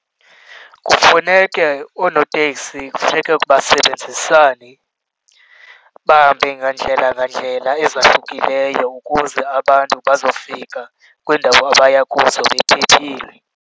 Kufuneke oonoteksi, kufuneke basebenzisane bahambe ngandlela ngandlela ezahlukileyo ukuze abantu bazofika kwiindawo abaya kuzo bephephile.